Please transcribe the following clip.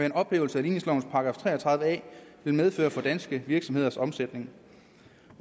en ophævelse af ligningsloven § tre og tredive a vil medføre for danske virksomheders omsætning